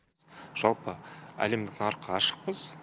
жалпы әлемдік нарыққа ашықпыз